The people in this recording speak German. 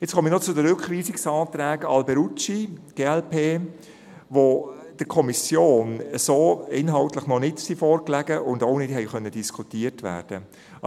Jetzt komme ich noch zu den Rückweisungsanträgen Alberucci/glp, die der Kommission inhaltlich so noch nicht vorlagen und auch nicht diskutiert werden konnten.